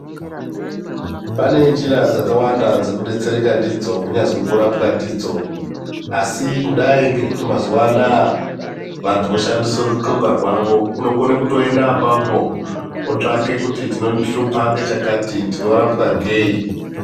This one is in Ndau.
Pane njira dzakawanda dzekudetsereka ndidzo kunyazwi kurapwa ndidzo asi kudai ngekuti mazuwa anaya vantu voshandise ruthlunga rwavo unokone kutoenda apapo otsvake kuti chinondihlupa ngechakati ndinorapwa ngeyi.